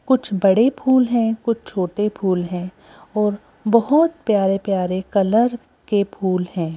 कुछ बड़े फूल हैं कुछ छोटे फूल हैं और बहोत प्यारे प्यारे कलर के फूल हैं।